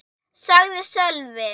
sagði Sölvi.